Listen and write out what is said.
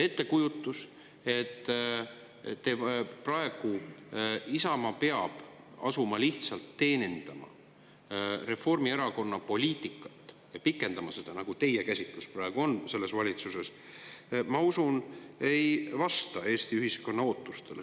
Ettekujutus, et Isamaa peab praegu asuma lihtsalt teenindama Reformierakonna poliitikat selles valitsuses, pikendama seda, nagu teie käsitlus praegu on – ma usun, et see ei vasta Eesti ühiskonna ootustele.